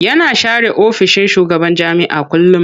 Yana share ofishin shugaban jami'a kullum.